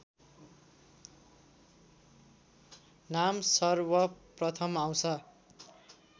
नाम सर्वप्रथम आउँछ